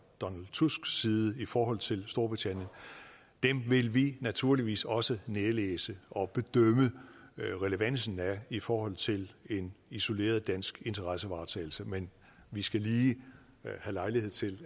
donald tusks side i forhold til storbritannien dem vil vi naturligvis også nærlæse og bedømme relevansen af i forhold til en isoleret dansk interessevaretagelse men vi skal lige have lejlighed til